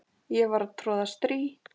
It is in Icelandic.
og var að troða strý